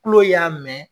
Kulo y'a mɛn